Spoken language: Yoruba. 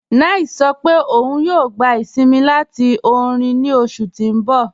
9ice sọ̀ pé ọun yòò gbà isìnmí láti orin ní oṣù tí n bọ̀.